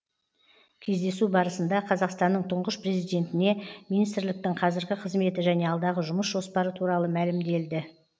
кездесу барысында қазақстанның тұңғыш президентіне министрліктің қазіргі қызметі және алдағы жұмыс жоспары туралы мәлімделді